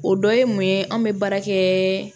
O dɔ ye mun ye anw bɛ baara kɛɛ